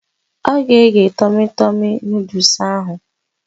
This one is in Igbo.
Ọ ga-egge tọmi tọmi nọdụs ahụ